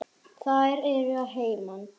Þær eru að heiman.